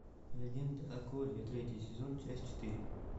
легенда о корре третий сезон часть четыре